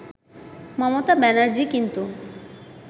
মমতা ব্যানার্জী কিন্তু